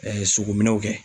sogo minɛw kɛ.